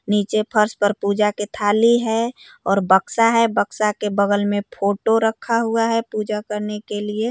नीचे फर्श पर पूजा के थाली है। और बक्सा है। बक्सा के बगल में फोटो रखा हुआ है। पूजा करने के लिए।